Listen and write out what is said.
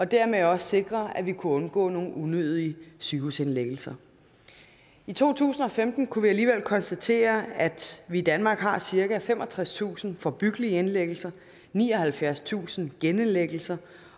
dermed også sikre at vi kunne undgå nogle unødige sygehusindlæggelser i to tusind og femten kunne vi alligevel konstatere at vi i danmark har cirka femogtredstusind forebyggelige indlæggelser nioghalvfjerdstusind genindlæggelser